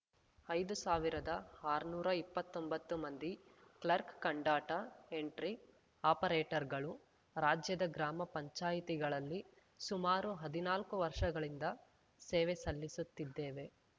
ಐದು ಸಾವಿರದ ಆರ್ನೂರಾ ಇಪ್ಪತ್ತೊಂಬತ್ತು ಮಂದಿ ಕ್ಲರ್ಕ್ ಕಂ ಡಾಟಾ ಎಂಟ್ರಿ ಆಪರೇಟರ್‌ಗಳು ರಾಜ್ಯದ ಗ್ರಾಮ ಪಂಚಾಯಿತಿಗಳಲ್ಲಿ ಸುಮಾರು ಹದಿನಾಲ್ಕು ವರ್ಷಗಳಿಂದ ಸೇವೆ ಸಲ್ಲಿಸುತ್ತಿದ್ದೇವೆ